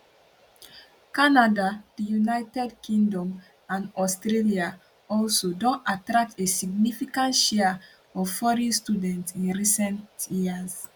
canada di united kingdom and australia also don attract a significant share of foreign students in recent years